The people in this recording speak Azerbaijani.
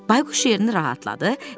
Bayquş şerini rahatladı.